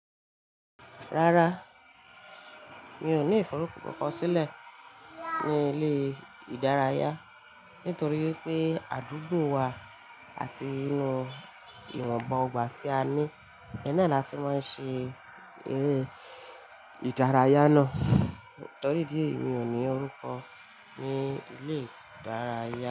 Rárá, mi ò ní ìforúkọ kankan sílẹ̀ ní ilé ìdárayá, nítorí pé àdúgbò wa àti inú ìwọ̀nba ogbà tí a ní, ohun náà láti máa ń ṣe eré ìdárayá náà. Nítorí ìdí èyí, mi ò ní orúkọ ní ilé ìdárayá.